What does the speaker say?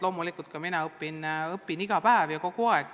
Loomulikult ka mina õpin iga päev ja kogu aeg.